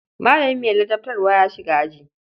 Malami mai ladabtarwa ya shiga aji.